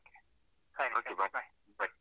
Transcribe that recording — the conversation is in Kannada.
Okay, bye, bye.